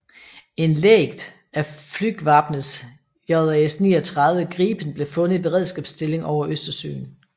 En lægd af Flygvapnets JAS 39 Gripen blev fundet i beredskabsstilling over Østersøen